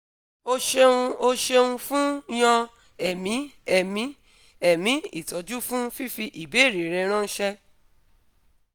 o ṣeuno ṣeun fun yan ẹ̀mí ẹ̀mí ẹ̀mí ìtọ́jú fún fífi ìbéèrè rẹ ránṣẹ́